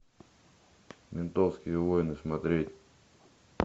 ментовские войны смотреть